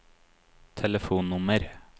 telefonnummer